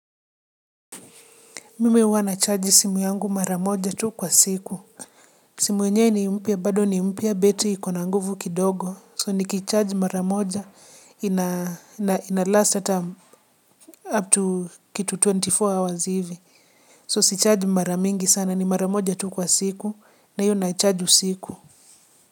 Mimi huwa na charge simu yangu mara moja tu kwa siku. Simu yenyeye ni mpya bado ni mpya betri ikona nguvu kidogo. So ni kiicharge mara moja ina last hata up to kitu ishirini na nne hours hivi. So si charge mara mingi sana ni mara moja tu kwa siku na hiyo na i charge usiku.